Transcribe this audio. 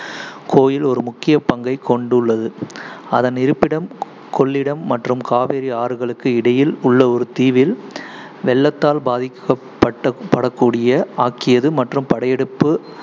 கோயில் ஒரு முக்கிய பங்கைக் கொண்டுள்ளது. அதன் இருப்பிடம், கொள்ளிடம் மற்றும் காவேரி ஆறுகளுக்கு இடையில் உள்ள ஒரு தீவில், வெள்ளத்தால் பாதிக்கப்பட்ட~ படக்கூடியதாக ஆக்கியது மற்றும் படையெடுப்பு